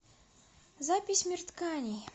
запись мир тканей